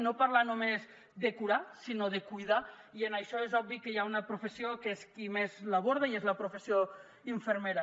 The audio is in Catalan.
no parlar només de curar sinó de cuidar i això és obvi que hi ha una professió que és qui més ho aborda i és la professió infermera